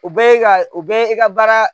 U bɛ ye ka u bɛ ye i ka baara